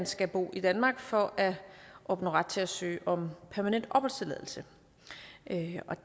skal bo i danmark for at opnå ret til at søge om permanent opholdstilladelse